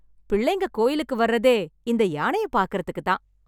பிள்ளைங்க கோயிலுக்கு வர்றதே இந்த யானைய பாக்கறதுக்கு தான்.